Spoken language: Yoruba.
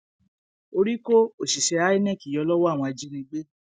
orí kó òṣìṣẹ inec yọ lọwọ àwọn ajínigbé